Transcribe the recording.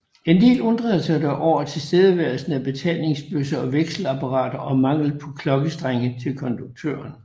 En del undrede sig dog over tilstedeværelsen af betalingsbøsser og vekselapparat og manglen på klokkestreng til konduktøren